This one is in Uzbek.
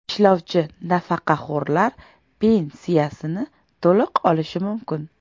Ishlovchi nafaqaxo‘rlar pensiyasini to‘liq olishi mumkin.